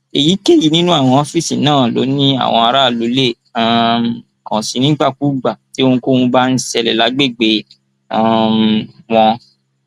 èyíkéyìí nínú àwọn ọfíìsì náà ló ní àwọn aráàlú lè um kàn sí nígbàkúùgbà tí ohunkóhun bá ń ṣẹlẹ lágbègbè um wọn